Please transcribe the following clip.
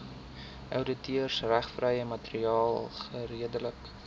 outeursregvrye materiaal geredelik